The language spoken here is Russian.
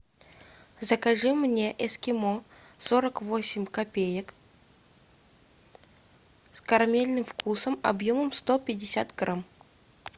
закажи мне эскимо сорок восемь копеек с карамельным вкусом объемом сто пятьдесят грамм